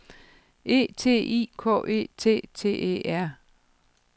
E T I K E T T E R